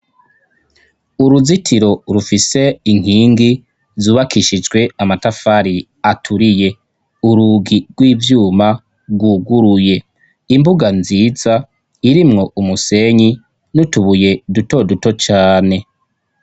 Uruzitiro rufise inkingi zubakishijwe amatafari aturiye. Urugi rw'ivyuma rwuguruye. Imbuga nziza irimwo umusenyi n'utubuye duto duto cane.